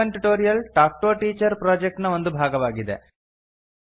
spoken tutorial talk to a teacher project ನ ಒಂದು ಭಾಗವಾಗಿದೆ